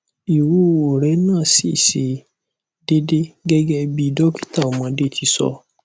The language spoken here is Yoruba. iwuwo re na si se dede gege bi dokita omode ti so